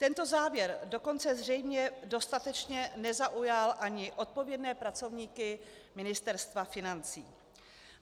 Tento závěr dokonce zřejmě dostatečně nezaujal ani odpovědné pracovníky Ministerstva financí.